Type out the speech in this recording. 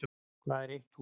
Hvað er eitt hús?